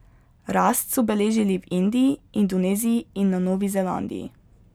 Rast so beležili v Indiji, Indoneziji in na Novi Zelandiji.